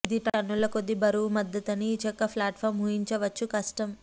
ఇది టన్నుల కొద్దీ బరువు మద్దతు అని ఈ చెక్క ప్లాట్ఫాం ఊహించవచ్చు కష్టం